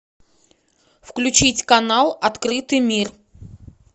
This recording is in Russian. включить канал открытый мир